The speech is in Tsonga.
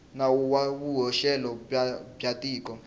nawu wa vuhoxelo bya tiko